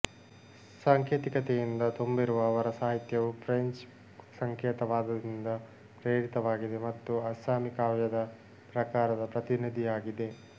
ಸಾಂಕೇತಿಕತೆಯಿಂದ ತುಂಬಿರುವ ಅವರ ಸಾಹಿತ್ಯವು ಫ್ರೆಂಚ್ ಸಂಕೇತವಾದದಿಂದ ಪ್ರೇರಿತವಾಗಿದೆ ಮತ್ತು ಅಸ್ಸಾಮಿ ಕಾವ್ಯದ ಪ್ರಕಾರದ ಪ್ರತಿನಿಧಿಯಾಗಿದೆ